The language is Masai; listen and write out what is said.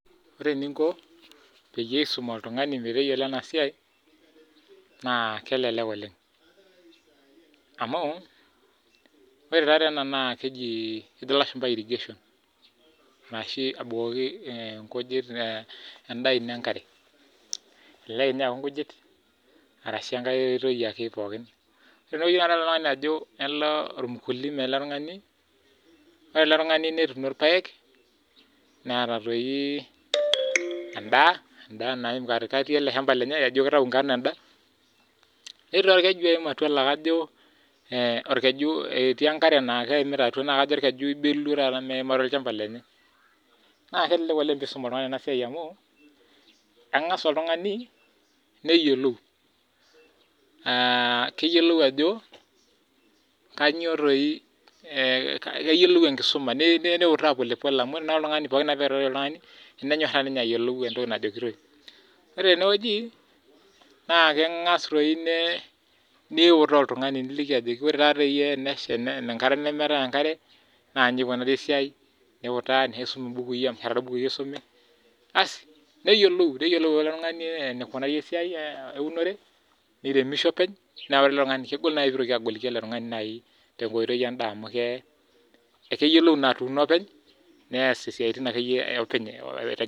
Ore tena pisha negira ena pisha aitodolu enoshi peku naa ninye iteraki olairemoni lolchambai arashu ilairemok ninche iterakini enkop peyie etumoki naa atubulu ataa enkaitubului mpaka neba enaa nelotu anap imatunda ashu nelotu aitau endaa naba duo enaa enayieu oltung'ani kulingana enaa enituuno naa enetipat ena toki oleng' amu miidim ake duo naaji anoto enchani eba eneba nilotu aun lasima ake pee interu tiabori aa tempeku neeku enetipat ena siai oleng' tiatua ilairemok pookin.